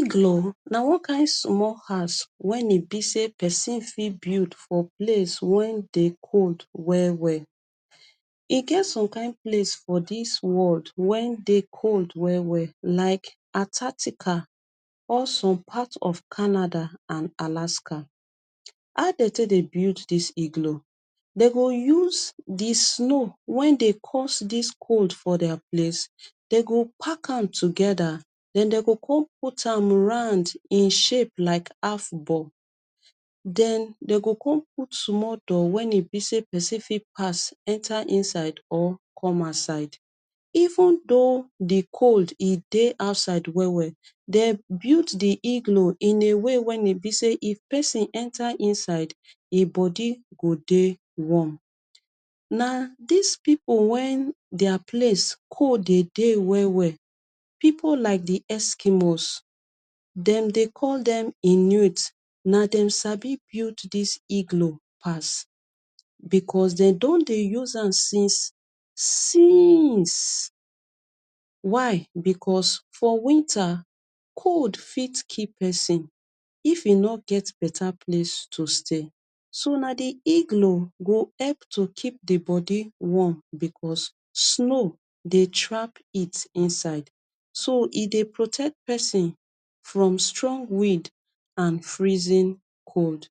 Iglo na one kin small house wen e be say pesin fit build for place wen dey cold well well e get some kin place for dis world wen dey cold well well like artatical awesome part of Canada and Alaska, how dey take dey build dis iglo dey go use di snow wen dey cause dis cold for their place dem go pack am together put am round in shape like half ball den dey go come put small door wen e be say pesin fit pass enter inside or come outside even do di cold dey outside well well dem build di iglo in a way wen e say pesin enter inside e body go dey warm na dis people wen their place cold dey dey well people like di Eskimos them dey call dem Inuit na dem sabi build dis Iglo pass becos dem don dey use am since since why because for winter cold fit kill pesin if e no get better place to stay so na di iglo dey help keep di bodi warm because snow dey track heat inside so e dey protect pesin from strong weed and freezing cold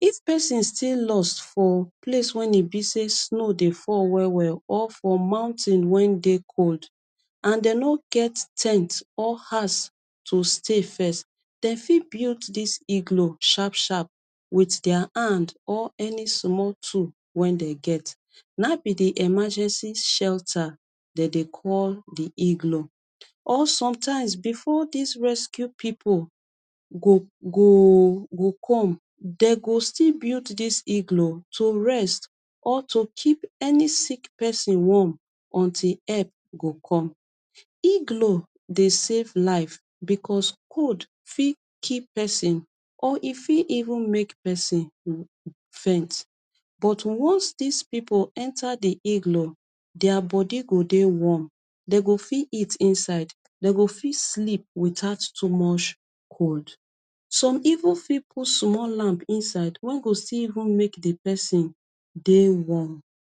if pesin still lost for place wen e be say snow dey fall well well or mountain wen dey cold and dey no get ten t or house to stay first build dis iglo sharp sharp wit their hand or any small tool wen dey get nabi di emergency shelta dey dey call di iglo or some times before dis rescue people go goo come dem go still build dis Iglo to rest or to keep any sick pesin warm until help go come Iglo dey save life because cold fit kill pesin or fit even make pesin faint but once dis people enter di iglo their bodi go dey warm dey go fit eat inside dey go fit sleep without too much cold some even fit put small lamp inside wen go still make di pesin dey warm.